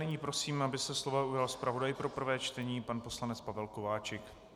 Nyní prosím, aby se slova ujal zpravodaj pro prvé čtení pan poslanec Pavel Kováčik.